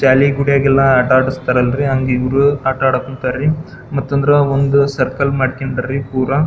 ಜಾಲಿ ಗುಡಿಯಗೆಲ್ಲ ಆಟ ಆಡಸ್ತಾರಲ್ಲ ಹಂಗೆ ಇವ್ರು ಆಟ ಆಡಾಕ್ ಹೊಂಟರಿ ಮತ್ತಂದ್ರ ಒಂದು ಸರ್ಕಲ್ ಮಾಡ್ಕೊಂಡಾರ್ ರೀ ಪೂರಾ.